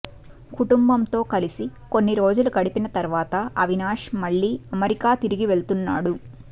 కుటుంబంతో కలిసి కొన్ని రోజులు గడిపిన తర్వాత అవినాష్ మళ్లీ అమెరికా తిరిగి వెళుతున్నాడు